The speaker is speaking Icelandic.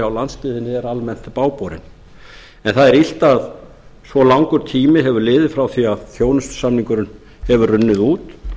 á landsbyggðinni eru almennt bágborin en það er illt að svo langur tími hefur liðið frá því að þjónustusamningurinn hefur runnið út